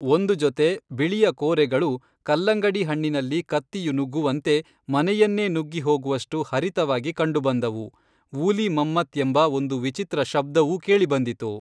ಒಂದು ಜೊತೆ ಬಿಳಿಯ ಕೋರೆಗಳು ಕಲ್ಲಂಗಡಿ ಹಣ್ಣಿನಲ್ಲಿ ಕತ್ತಿಯು ನುಗ್ಗುವಂತೆ ಮನೆಯನ್ನೇ ನುಗ್ಗಿ ಹೋಗುವಷ್ಟು ಹರಿತವಾಗಿ ಕಂಡುಬಂದವು, ವೂಲಿ ಮಮ್ಮತ್ ಎಂಬ ಒಂದು ವಿಚಿತ್ರ ಶಬ್ದವೂ ಕೇಳಿಬಂದಿತು